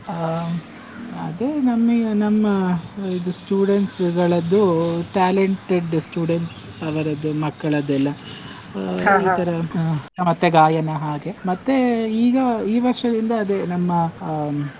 ಆ ಅದೇ ನಮಿಗೆ ನಮ್ಮ ಇದು students ಗಳದ್ದು, talented students ಅವರದ್ದು ಮಕ್ಕಳದ್ದೆಲ್ಲ ಮತ್ತೆ ಗಾಯನ ಹಾಗೆ, ಮತ್ತೆ ಈಗ ಈ ವರ್ಷದಿಂದ ಅದೇ ನಮ್ಮ ಆ.